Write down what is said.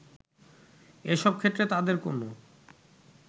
এসব ক্ষেত্রে তাদের কোনো